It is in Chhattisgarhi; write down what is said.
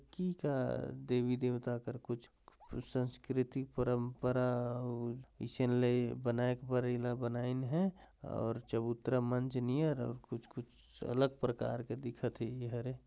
कीका देवी देवता कर कुछ सांस्कृतिक परंपरा अउ ईसन ले बनाएक बर एला बनाइन हे और चबूतरा मंच कुछ कुछ अलग प्रकार के दिखत हे इहर हे ।